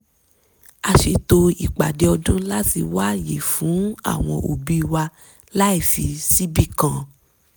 a ṣètò ìpàdé ọdún láti wá ààyè fún àwọn òbí wa láì fì síbì kan